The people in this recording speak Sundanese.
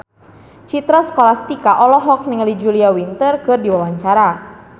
Citra Scholastika olohok ningali Julia Winter keur diwawancara